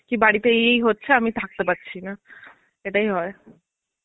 কি বাড়িতে এই এই হচ্ছে আমি থাকতে পারছিনা. এটাই হয়.